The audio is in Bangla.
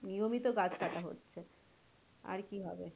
নিয়মিত গাছ কাটা হচ্ছে আর কি হবে